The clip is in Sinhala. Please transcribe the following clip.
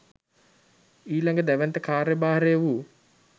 ඊළඟ දැවැන්ත කාර්යභාරය වූ